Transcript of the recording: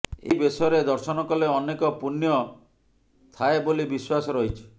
ଏହି ବେଶରେ ଦର୍ଶନ କଲେ ଅନେକ ପୁଣ୍ୟ ମିଳେ ଥାଏ ବୋଲି ବିଶ୍ୱାସ ରହିଛି